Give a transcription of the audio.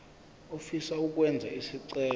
ofisa ukwenza isicelo